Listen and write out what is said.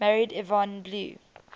married yvonne blue